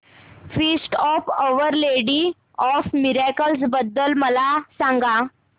feast of our lady of miracles बद्दल मला सांगा